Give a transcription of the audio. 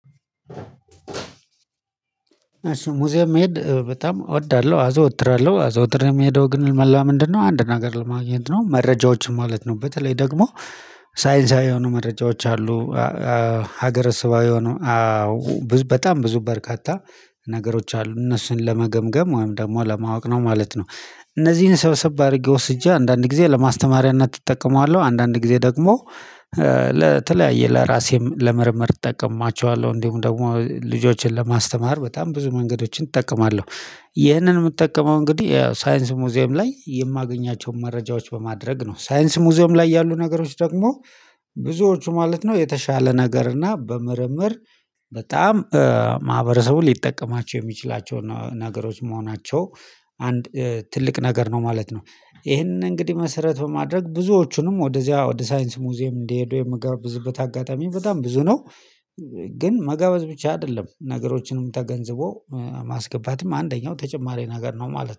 እሺ ሙዚየም መሄድ በጣም እወዳለሁ። አዘወትራለሁ አዘውትሬ የሚሄደው ግን መላ ምንድነው አንድ ነገር ለማግኘት ነው? መረጃዎችን ማለት ነው በተለይ ደግሞ ሳይንሳዊ የሆኑ መረጃዎች አሉ። ሀገረ ስብሃዊ ሆኖ በጣም ብዙ በርካታ ነገሮች አሉ እነሱን ለመገምገም ወይም ደግሞ ለማወቅ ነው ማለት ነው። እነዚህን ስብሰብ አድርጌ ወስጄ አንዳንድ ጊዜ ለማስተማሪያት እጠቀማዋለሁ አንዳንድ ጊዜ ደግሞ ለተለያየ ለራሴም ለምርመር እጠቀማቸዋለሁ እንደሁም ደግሞ ልጆችን ለማስተማር በጣም ብዙ መንገዶችን እጠቀማለሁ። ይህንን የምጠቀመው እንግዲህ ያው ሳይንስ ሙዚየም ላይ የማገኛቸውን መረጃዎች በማድረግ ነው ሳይንስ ሙዚየም ላይ ያሉ ነገሮች ደግሞ ብዙዎቹ ማለት ነው የተሻለ ነገር እና በምርምር በጣም ማህበረሰቡን ሊጠቀማቸው የሚችላቸውን ነገሮች መሆናቸው አንድ ትልቅ ነገር ነው ማለት ነው። ይሄንን እንግዲህ መሰረት በማድረግ ብዙዎቹንም ወደዚያ ወደ ሳይንስ ሙዚየም እንዲሄዱ የምጋብዝበት አጋጣሚ በጣም ብዙ ነው። ግን መጋበዝ ብቻ አይደለም ነገሮችንም ተገንዝቦ ማስገባትም አንደኛው ተጨማሪ ነገር ነው ማለት ነው